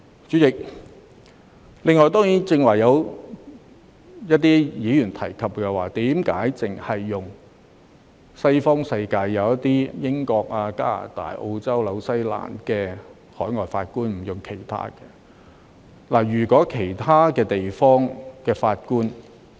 主席，此外，剛才有一些議員提出為何只委任西方國家的法官，例如英國、加拿大、澳洲、新西蘭的法官，而不委任其他國家的法官。